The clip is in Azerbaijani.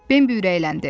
Bimbi ürəkləndi.